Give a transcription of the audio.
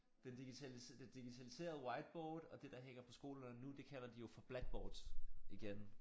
Den digital det digitaliserede whiteboard og det der hænger på skolerne nu det kalder de jo for blackboards igen